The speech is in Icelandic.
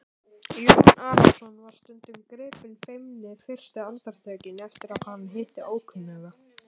Jón Arason var stundum gripinn feimni fyrstu andartökin eftir að hann hitti ókunnuga.